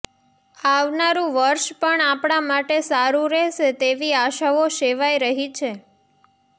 આવનારૂ વર્ષ પણ આપણા માટે સારૂ રહેશે તેવી આશાઓ સેવાઈ રહી છે